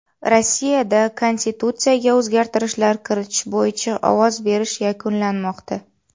Rossiyada Konstitutsiyaga o‘zgartirishlar kiritish bo‘yicha ovoz berish yakunlanmoqda.